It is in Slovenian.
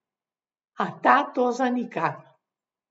A ta to zanika.